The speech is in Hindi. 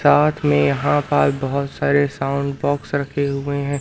साथ मे यहां पर बहुत सारे साउंड बॉक्स रखे हुए हैं।